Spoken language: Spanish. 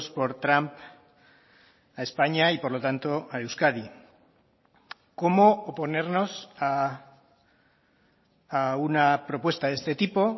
por trump a españa y por lo tanto a euskadi cómo oponernos a una propuesta de este tipo